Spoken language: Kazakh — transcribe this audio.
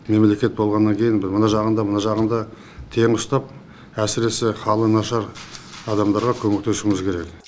мемлекет болғаннан кейін мына жағын да мына жағын да тең ұстап әсіресе халы нашар адамдарға көмектесуіміз керек